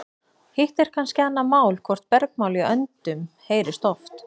Hitt er kannski annað mál hvort bergmál í öndum heyrist oft.